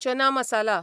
चना masala